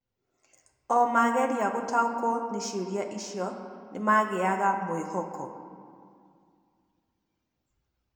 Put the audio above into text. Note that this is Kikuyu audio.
O mageria gũtaũko ni ciũria icio ni magĩaga mwĩhoko.